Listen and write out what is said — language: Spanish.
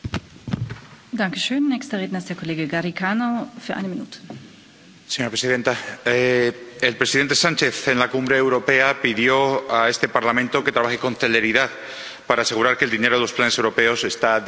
Señora presidenta, el presidente Sánchez, en la cumbre europea, pidió a este Parlamento que trabaje con celeridad, para asegurar que el dinero de los planes europeos esté disponible desde el uno de enero, y también el señor Michel nos lo ha dicho hoy.